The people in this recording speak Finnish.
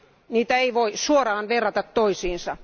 Niitä ei voi suoraan verrata toisiinsa.